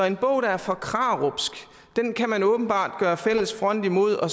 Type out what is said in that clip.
en bog der er for krarupsk kan man åbenbart gøre fælles front imod og